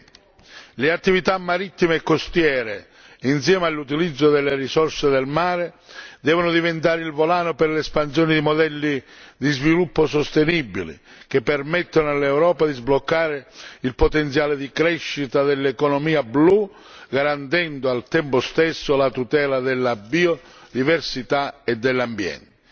2020. Le attività marittime e costiere, insieme all'utilizzo delle risorse del mare, devono diventare il volano per l'espansione di modelli di sviluppo sostenibile che permettano all'Europa di sbloccare il potenziale di crescita dell'economia blu garantendo al tempo stesso la tutela della biodiversità e dell'ambiente.